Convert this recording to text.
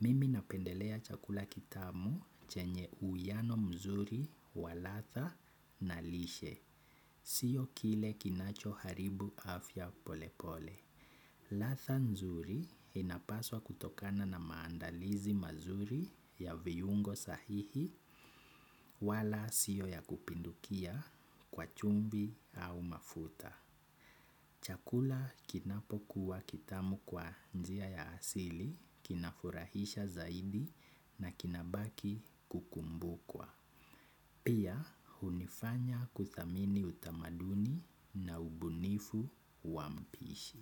Mimi napendelea chakula kitamu chenye uiano mzuri wa ladha na lishe. Sio kile kinacho haribu afya polepole ladha nzuri inapaswa kutokana na maandalizi mazuri ya viungo sahihi wala sio ya kupindukia kwa chumvi au mafuta. Chakula kinapokuwa kitamu kwa njia ya asili, kinafurahisha zaidi na kinabaki kukumbukwa. Pia hunifanya kuthamini utamaduni na ubunifu wa mpishi.